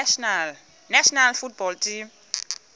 national football team